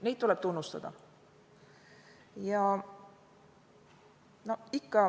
Neid tuleb tunnustada.